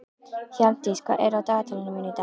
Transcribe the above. Hjálmdís, hvað er á dagatalinu mínu í dag?